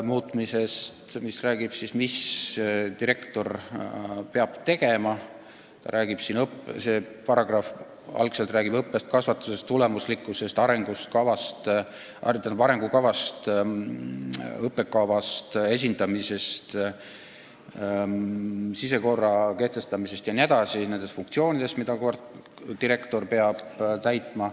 See paragrahv räägib sellest, mida direktor peab tegema, see räägib õppest, kasvatusest, tulemuslikkusest, arengukavast, õppekavast, kooli esindamisest, sisekorra kehtestamisest jne – nendest funktsioonidest, mida direktor peab täitma.